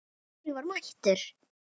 Kári var mættur!